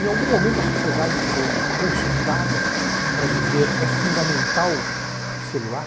Em algum momento a sociedade foi consultada para dizer é fundamental o celular?